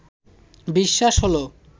বিশ্বাস হলো